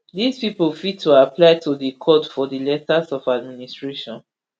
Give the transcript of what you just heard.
dis pipo fit to apply to di court for di letters of administration